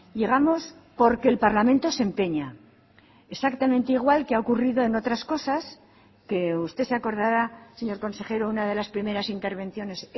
llegamos porque el parlamento se empeña exactamente igual que ha ocurrido en otras cosas que usted se acordará señor consejero una de las primeras intervenciones